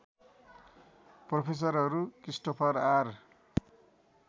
प्रोफेसरहरू Christopher are